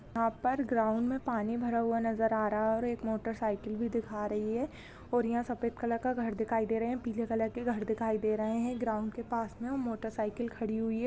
यहाँ पर ग्राउंड में पानी भरा नज़र आ रहा है और एक मोटरसाइकिल भी दिखा रही है और यहाँ सफेद कलर का घर दिखाई दे रहे हैं पीले कलर के घर दिखाई दे रहे हैं ग्राउंड के पास में मोटरसाइकिल खड़ी हुई है।